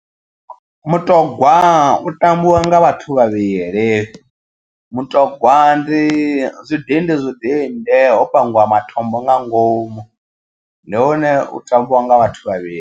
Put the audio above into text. Mutogwa u tambiwa nga vhathu vhavhili. Mutogwa ndi zwidindi zwidindi ho pangiwa matombo nga ngomu. Ndi hune u tambiwa nga vhathu vhavhili.